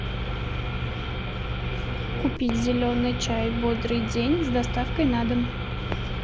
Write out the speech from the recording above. купить зеленый чай бодрый день с доставкой на дом